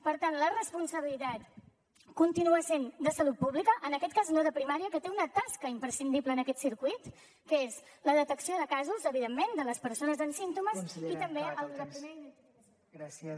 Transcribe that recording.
per tant la responsabilitat continua sent de salut pública en aquest cas no de primària que té una tasca imprescindible en aquest circuit que és la detecció de casos evidentment de les persones amb símptomes i també la primera identificació